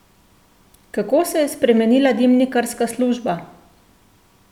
Kako se je spremenila dimnikarska služba?